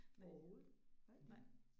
Næ. Nej